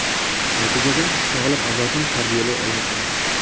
Natijada, sog‘lom avlodni tarbiyalay olmay qolamiz.